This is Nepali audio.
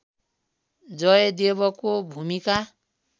जयदेवको भूमिका